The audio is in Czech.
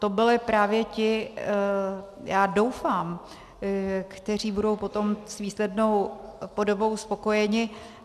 To byli právě ti, já doufám, kteří budou potom s výslednou podobou spokojeni.